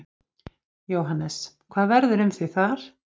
Jóhannes: Hvað verður um þig þar?